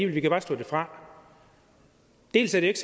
vi kan bare slå det fra dels er det ikke